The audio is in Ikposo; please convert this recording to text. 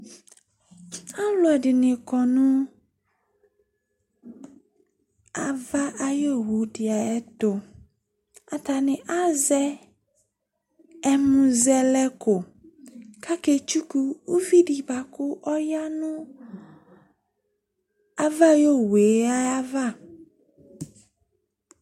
Alʋɛdɩnɩ kɔ nʋ ava ayʋ owu dɩ ayɛtʋ Atanɩ azɛ ɛmʋzɛlɛko kʋ aketsuku uvi dɩ bʋa kʋ ɔya nʋ ava ayʋ owu yɛ ayava